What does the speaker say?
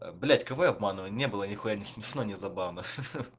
блять кого я обманываю не было нихуя не смешно не забавно ахха